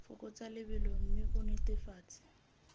fokotsa lebelo mme o netefatse